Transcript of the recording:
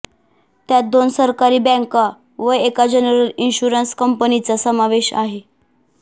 त्यात दोन सरकारी बँका व एका जनरल इन्शुरन्स कंपनीचा समावेश आहे